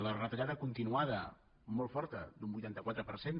la retallada continuada molt forta d’un vuitanta quatre per cent